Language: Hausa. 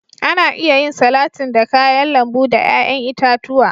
Ana iya yin salatin da kayan lambu da yayan itatuwa.